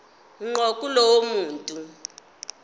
ngqo kulowo muntu